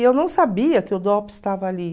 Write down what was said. E eu não sabia que o estava ali.